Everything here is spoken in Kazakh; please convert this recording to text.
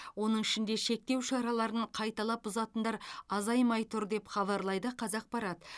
оның ішінде шектеу шараларын қайталап бұзатындар азаймай тұр деп хабарлайды қазақпарат